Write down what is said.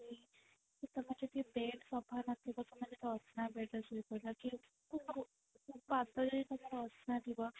କି ତମେ ଯଦି bed ସଫା ନଥିବ ତମେ ଯଦି ଅସନା bed ରେ ଶୋଇ ପଡିଲା କି ପାଦ ଯଦି ତମର ଅସନା ଥିବ